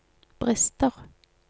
brister